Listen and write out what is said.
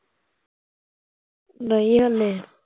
ਨਹੀਂ ਹਲੇ